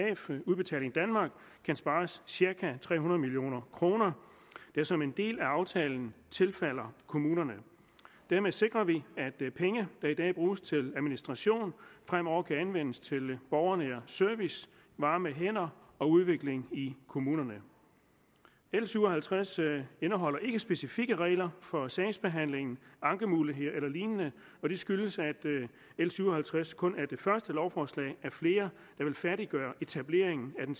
udbetaling danmark kan spares cirka tre hundrede million kr der som en del af aftalen tilfalder kommunerne dermed sikrer vi at penge der i dag bruges til administration fremover kan anvendes til borgernær service varme hænder og udvikling i kommunerne l syv og halvtreds indeholder ikke specifikke regler for sagsbehandling ankemuligheder eller lignende og det skyldes at l syv og halvtreds kun er det første lovforslag af flere der vil færdiggøre etableringen af den